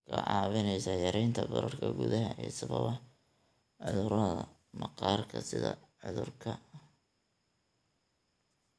Waxay kaa caawinaysaa yaraynta bararka gudaha ee sababa cudurrada maqaarka sida cudurka